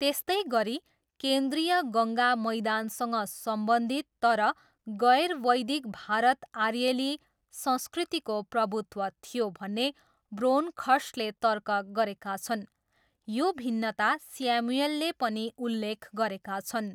त्यस्तै गरी, केन्द्रीय गङ्गा मैदानसँग सम्बन्धित तर गैर वैदिक भारत आर्येली संस्कृतिको प्रभुत्व थियो भन्ने ब्रोन्खर्स्टले तर्क गरेका छन्, यो भिन्नता स्यामुएलले पनि उल्लेख गरेका छन्।